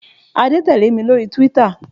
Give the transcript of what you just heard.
Adé tẹ̀lé mi lórí túwítà